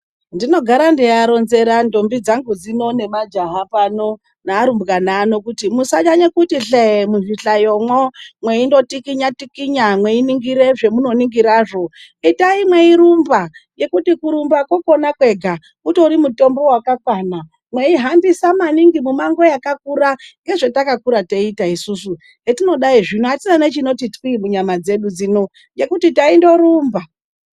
Ndinogara ndeivaronzera ndombi dzangu dzino nemajaha nearumbwana ano kuti musanyanya kutihle muzvihlayomo meingotikinya tikinya meiningira zvamunoningira zvo itai mweirumba ngekuti kurumba konakwega utori mutombo wakakwana mwei hambisa maningi mumango wakakura ngezvatakakura teita isusu hetinodai zvino atina nechinoti twi munyama dzedu dzino ngekuti taindorumba.